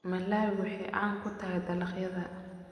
Malawi waxay caan ku tahay dalagyada.